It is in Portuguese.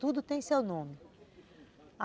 Tudo tem seu nome.